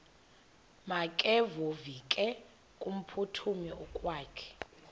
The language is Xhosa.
makevovike kumphuthumi okokwakhe